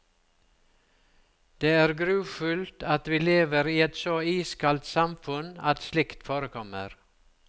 Det er grufullt at vi lever i et så iskaldt samfunn at slikt forekommer.